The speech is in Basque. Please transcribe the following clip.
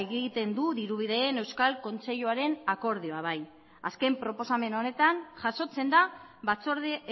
egiten du dirubideen euskal kontseiluaren akordioa bai azken proposamen honetan jasotzen da batzorde